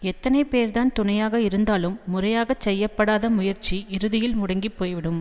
எத்தனை பேர்தான் துணையாக இருந்தாலும் முறையாகச் செய்ய படாத முயற்சி இறுதியில் முடங்கி போய்விடும்